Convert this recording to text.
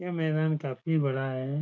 ये मैदान काफी बड़ा है।